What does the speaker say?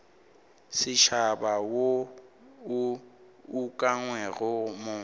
setšhaba wo o ukangwego mo